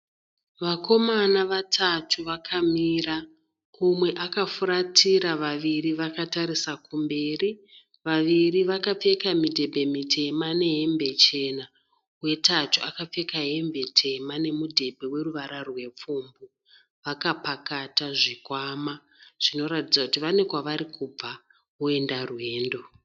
Vakomana vatatu vakamira umwe akafuratira vaviri vakatarisa kumberi. Vaviri vakapfeka midhebhe mitema nehembe chena, wetatu akapfeka hembe tema nemudhebhe weruvara rwepfumbu. Vakapakata zvikwama zvinoratidza kuti kune kwavarikubva kuenda rwendo.